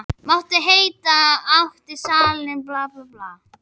Mátti heita að hann ætti salinn á tímabili.